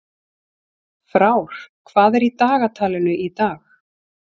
Frár, hvað er í dagatalinu í dag?